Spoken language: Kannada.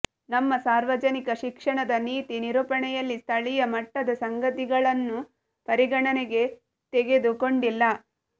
ನಮ್ಮ ಸಾರ್ವಜನಿಕ ಶಿಕ್ಷಣದ ನೀತಿ ನಿರೂಪಣೆಯಲ್ಲಿ ಸ್ಥಳೀಯ ಮಟ್ಟದ ಸಂಗತಿಗಳಣ್ನು ಪರಿಗಣನೆಗೆ ತೆಗೆದು ಕೊಂಡಿಲ್ಲ